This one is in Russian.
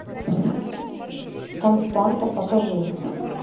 константа покажи